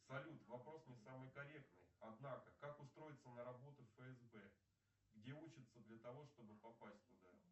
салют вопрос не самый корректный однако как устроится на работу в фсб где учатся что бы попасть туда